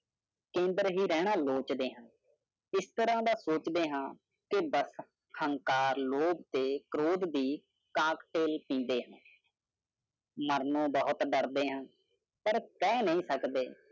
ਕੇਂਦਰ ਹੀ ਰਹਿਣਾ ਲੋਚਦੇ ਹਾਂ। ਇਸ ਤਰਾਂ ਦਾ ਸੋਚਦੇ ਹਾਂ ਕਿ ਬੱਸ ਹੰਕਾਰ ਲੋਭ ਤੇ ਕ੍ਰੋਧ ਦੀ ਕਾਕਟੇਲ ਪੀਂਦੇ ਹਾਂ। ਮਰਨੋਂ ਬਹੁਤ ਡਰਦੇ ਹਾਂ ਪਰ ਕਹਿ ਨਹੀਂ ਸਕਦੇ